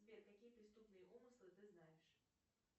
сбер какие преступные умыслы ты знаешь